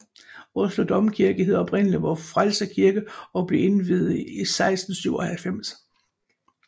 Oslo Domkirke hed oprindelig Vor Frelser Kirke og blev indviet i 1697